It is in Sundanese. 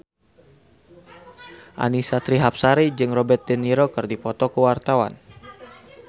Annisa Trihapsari jeung Robert de Niro keur dipoto ku wartawan